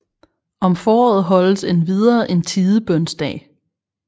Om foråret holdes endvidere en Tidebønsdag